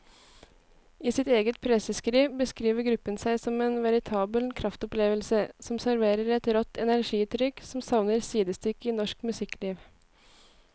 I sitt eget presseskriv beskriver gruppen seg som en veritabel kraftopplevelse som serverer et rått energiutrykk som savner sidestykke i norsk musikkliv.